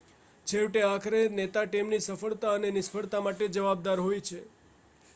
છેવટે આખરે નેતા ટીમની સફળતા અને નિષ્ફળતા માટે જવાબદાર હોય છે